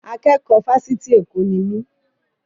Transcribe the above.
Akẹ́kọ̀ọ́ Fásitì Èkó ni mí.